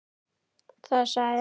Þar sagði